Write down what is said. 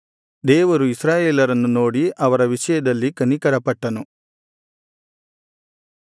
ದೇವರು ಇಸ್ರಾಯೇಲರನ್ನು ನೋಡಿ ಅವರ ವಿಷಯದಲ್ಲಿ ಕನಿಕರಪಟ್ಟನು